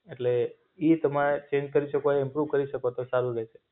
એટલે ઈ તમાએ ચેન્જ કરી શકો ય ઈમ્પ્રુવ કરી શકો તો સારું રેસે.